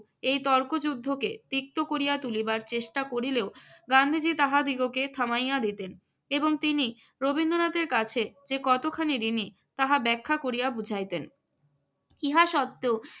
ইহা সত্য এই তর্কযুদ্ধকে তিক্ত করিয়া তুলিবার চেষ্টা করিলেও গান্ধীজি তাহাদিগকে থামাইয়া দিতেন এবং তিনি রবীন্দ্রনাথের কাছে যে কতখানি ঋণী তাহা ব্যাখ্যা করিয়া বুঝাইতেন।